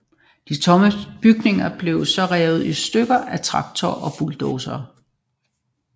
De tomme bygninger blev så revet i stykker af traktorer og bulldosere